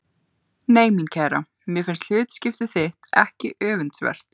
Nei mín kæra, mér finnst hlutskipti þitt ekki öfundsvert.